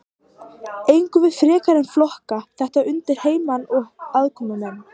Eigum við ekki frekar að flokka þetta undir heimamenn og aðkomumenn?